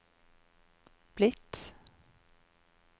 blitt